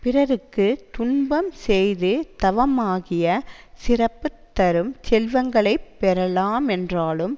பிறர்க்கு துன்பம் செய்து தவமாகிய சிறப்பு தரும் செல்வங்களை பெறலாம் என்றாலும்